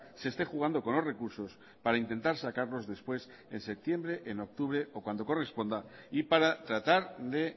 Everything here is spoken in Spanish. se esté jugando con los recursos para intentar sacarlos después en septiembre en octubre o cuando corresponda y para tratar de